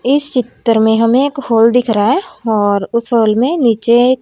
इस चित्र में हमें एक होल दिख रहा है और उस होल में नीचे एक--